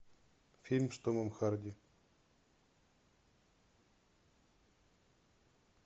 фильм с томом харди